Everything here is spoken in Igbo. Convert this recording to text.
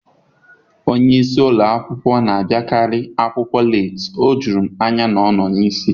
Onye isi ụlọ akwụkwọ na-abịakarị akwụkwọ leeti. O juru m anya na ọ nọ n'isi taa.